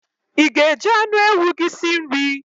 I ga- eji anụ ewu gị si nri?